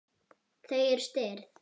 Þau eru stirð.